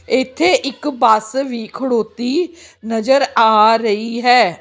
ਇਥੇ ਇੱਕ ਬੱਸ ਵੀ ਖਲੋਤੀ ਨਜ਼ਰ ਆ ਰਹੀ ਹੈ।